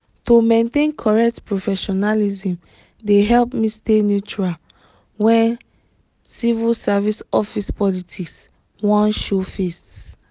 to maintain correct professionalism dey help me stay neutral when civil service office politics wan show face.